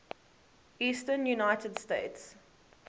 eastern united states